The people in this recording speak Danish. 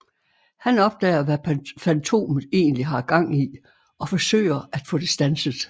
Han opdager hvad Fantomet egentlig har gang i og forsøger at få det standset